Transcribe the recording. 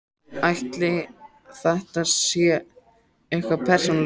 Ætli þetta sé eitthvað persónulegt?